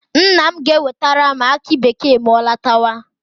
Nna m ga-ewetere m aki bekee ma ọ lọtawa.